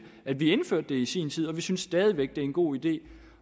at vi indførte det i sin tid og vi synes stadig væk det er en god idé